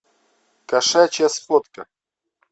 кошачья сходка